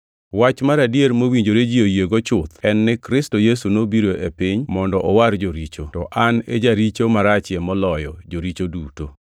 Wach mar adier mowinjore ji oyiego chuth en ni Kristo Yesu nobiro e piny mondo owar joricho, to an e jaricho marachie moloyo joricho duto.